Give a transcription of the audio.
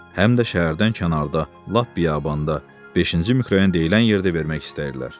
Həm də şəhərdən kənarda, lap biyabanda, beşinci mikrorayon deyilən yerdə vermək istəyirlər.